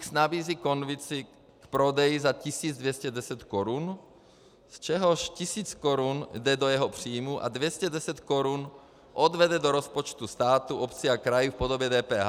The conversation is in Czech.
X nabízí konvici k prodeji za 1210 Kč, z čehož 1000 Kč jde do jeho příjmů a 210 Kč odvede do rozpočtu státu, obcí a krajů v podobě DPH.